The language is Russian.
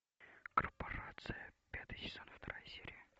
корпорация пятый сезон вторая серия